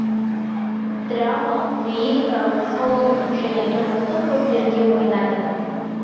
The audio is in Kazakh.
драмалық лирикалық салондық және тұрмыстық рольдерде ойнады